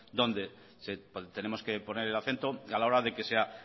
dónde tenemos que poner el acento a la hora de que sea